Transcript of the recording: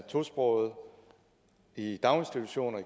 tosprogede i daginstitutioner